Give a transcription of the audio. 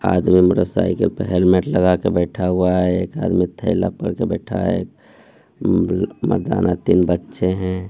आदमी motorcycle पे helmet लगा के बैठा हुआ है एक हाथ में थैला पकड़ के बैठा है मर्दाना तीन बच्चे हैं।